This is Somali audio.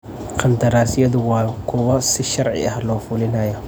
Qandaraasyadu waa kuwo si sharci ah loo fulinayo.